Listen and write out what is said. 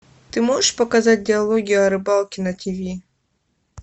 ты можешь показать диалоги о рыбалке на тв